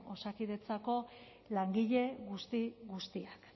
osakidetzako langile guzti guztiak